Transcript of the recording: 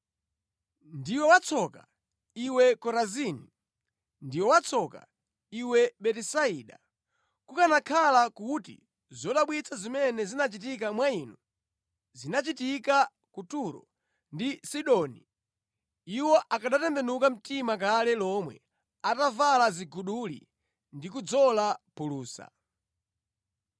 “Ndiwe watsoka, iwe Korazini! Ndiwe watsoka, iwe Betisaida! Kukanakhala kuti zodabwitsa zimene zinachitika mwa inu zinachitika ku Turo ndi Sidoni, iwo akanatembenuka mtima kale lomwe, atavala ziguduli ndi kudzola phulusa.